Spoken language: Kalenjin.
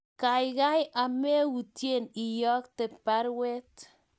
kaikai ameyutyen iyokte baruet